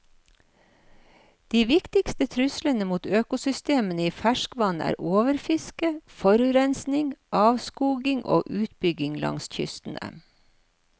De viktigste truslene mot økosystemene i ferskvann er overfiske, forurensning, avskoging og utbygging langs kystene.